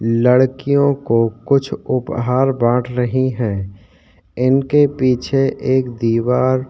बाजु में आलवारी जेसे बनी हुई है जिनके अंदर किताबे रखे हुई उपर लाइट लगी हुई पंखा लगा हुआ है।